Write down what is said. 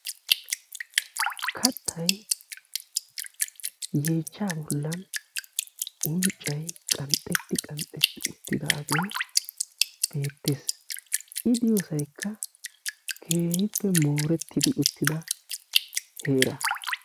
Kalttay yeechcha bollan unccay qanxxetti qanxxetti uttidaaget beettes; I diyoosayikka keehippe mooretti uttida heera.